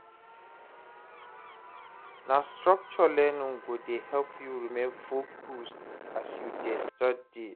Na structured learning go dey help you remain focused as you dey study.